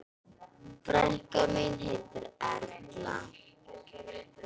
Frænka mín heitir Erla.